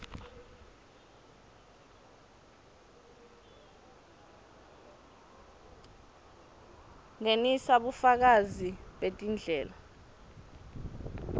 ngenisa bufakazi betindlela